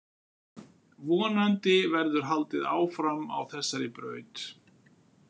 Vonandi verður haldið áfram á þessari braut.